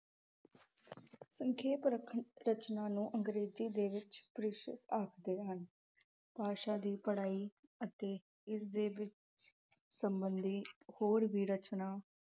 ਸੰਖੇਪ ਰਖ ਅਹ ਰਚਨਾ ਨੂੰ ਅੰਗਰੇਜ਼ੀ ਦੇ ਵਿੱਚ ਆਖਦੇ ਹਨ। ਭਾਸ਼ਾ ਦੀ ਪੜਾਈ ਅਤੇ ਇਸ ਦੇ ਵਿੱਚ ਸਬੰਧਿਤ ਹੋਰ ਵੀ ਰਚਨਾ